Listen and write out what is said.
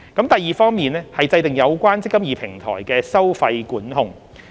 第二方面是制訂有關"積金易"平台的收費管控。